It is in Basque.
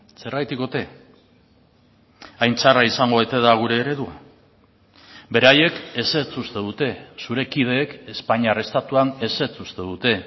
zergatik ote hain txarra izango ote da gure eredua beraiek ezetz uste dute zure kideek espainiar estatuan ezetz uste dute